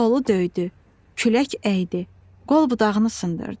Dolu döydü, külək əydi, qol-budağını sındırdı.